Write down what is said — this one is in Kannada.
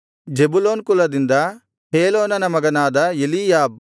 ಜೆಬುಲೂನ್ ಕುಲದಿಂದ ಹೇಲೋನನ ಮಗನಾದ ಎಲೀಯಾಬ್